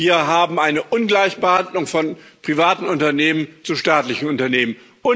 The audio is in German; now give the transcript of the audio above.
Wir haben eine Ungleichbehandlung von privaten Unternehmen zu staatlichen Unternehmen.